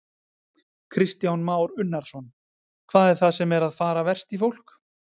Kristján Már Unnarsson: Hvað er það sem er að fara verst í fólk?